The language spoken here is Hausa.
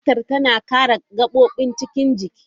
Fatar tana kare gabobin cikin jiki.